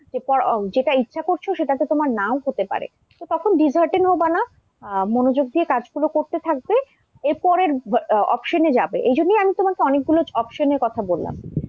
এরপর ও যেটা ইচ্ছা করছো সেটাতে তোমার নাও হতে পারে, তো তখন dishearten হবে না আহ মনোযোগ দিয়ে কাজগুলো করতে থাকবে, এরপরের option এ যাবে। এই জন্যেই আমি তোমাকে অনেকগুলো option এর কথা বললাম।